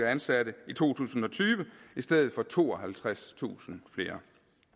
ansatte i to tusind og tyve i stedet for tooghalvtredstusind flere